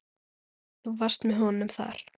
Þú varst með honum þar?